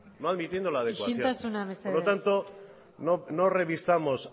isiltasuna mesedez por lo tanto no revisamos